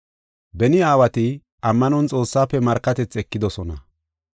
Beni aawati ammanon Xoossaafe markatethi ekidosona.